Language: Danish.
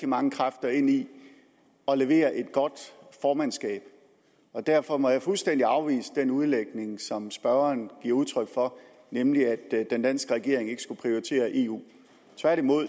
mange kræfter ind i at levere et godt formandskab derfor må jeg fuldstændig afvise den udlægning som spørgeren giver udtryk for nemlig at den danske regering ikke skulle prioritere eu tværtimod